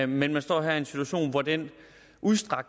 men man står her i en situation hvor det